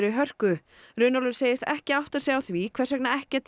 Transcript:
hörku Runólfur segist ekki átta sig á því hvers vegna ekkert